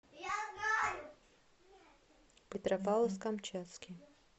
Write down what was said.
петропавловск камчатский